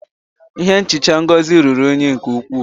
Ihe nhicha Ngozi ruru unyi nke ukwuu